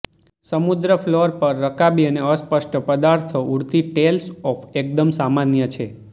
સમુદ્ર ફ્લોર પર રકાબી અને અસ્પષ્ટ પદાર્થો ઉડતી ટેલ્સ ઓફ એકદમ સામાન્ય છે